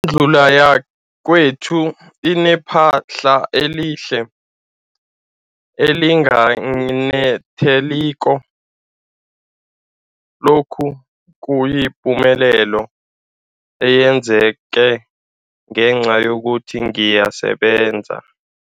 Indlu yakwethu inephahla elihle, elinganetheliko, lokhu kuyipumelelo eyenzeke ngenca yokuthi ngiyasebenza.